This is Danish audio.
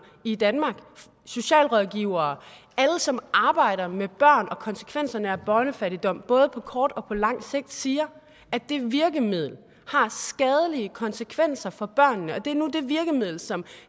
i danmark socialrådgivere alle som arbejder med børn og konsekvenserne af børnefattigdom på både kort og lang sigt siger at det virkemiddel har skadelige konsekvenser for børnene og det er nu det virkemiddel som